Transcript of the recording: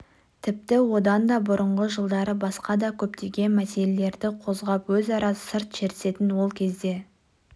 тіпті одан да бұрынғы жылдары басқа да көптеген мәселелерді қозғап өзара сыр шертісетін ол кезде